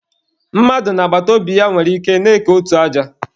Mmadụ na agbataobi ya nwere ike na-eke otu aja.